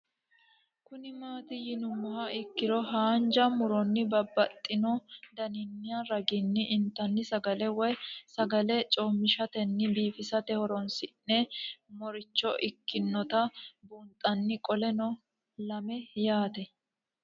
Kuni mati yinumoha ikiro hanja muroni babaxino daninina ragini intani sagale woyi sagali comishatenna bifisate horonsine'morich ikinota bunxana qoleno lame yaate